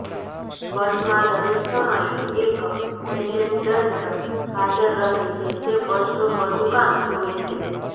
બસમાં દરેક સમયે એક એટેન્ડન્ટ હાજર રહે છે જે બસનું બધુ કામ જોવે છે